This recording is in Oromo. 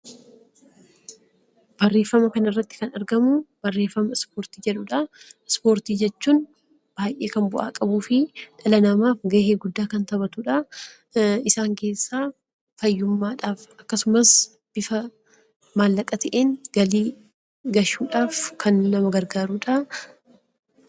Ispoortii jechuun baay'ee kan bu'aa qabuu fi dhala namaatiif baay'ee gahee guddaa kan taphatudha. Isaan keessaa fayyummaadhaaf akkasumas bifa maallaqa ta'een galii galchuudhaaf kan nama gargaarudha.